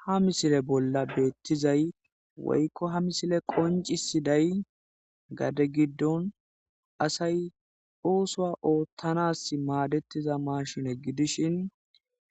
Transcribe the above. ha misile bolla beettizay woykko ha misile qoncisi day gade giddon asay oosoa oottanas maadettiza maashine gidishin